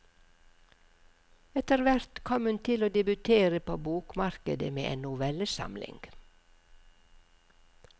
Etterhvert kom hun til å debutere på bokmarkedet med en novellesamling.